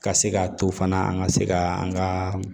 Ka se ka to fana an ka se ka an ka